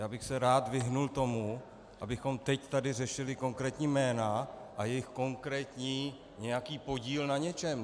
Já bych se rád vyhnul tomu, abychom teď tady řešili konkrétní jména a jejich konkrétní nějaký podíl na něčem.